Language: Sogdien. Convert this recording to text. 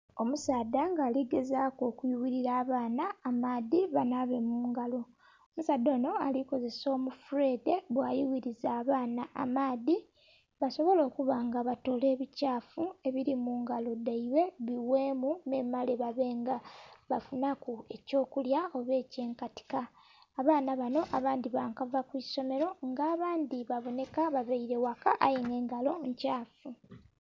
Omusaadha nga ali gezaaku okuyughilila abaana amaadhi banhaabe mu ngalo. Omusaadha onho ali kozesa omufuleedhe bwayughiriza abaana amaadhi, basobole okuba nga batoola ebikyafu ebili mu ngalo dhaibwe bigheemu memale babe nga bafunhaku ekyokulya oba eky'enkatika. Abaana banho abandhi ba kava ku isomelo nga abandhi babonheka babaile ghaka aye nga engalo nkyafu.